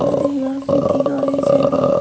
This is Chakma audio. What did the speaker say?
eyot hiyor meeting or hijeni.